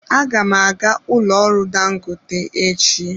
Aga m aga n'ụlọ ọrụ dangote echi.